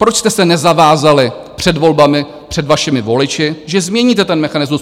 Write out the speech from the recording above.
Proč jste se nezavázali před volbami, před vašimi voliči, že změníte ten mechanismus?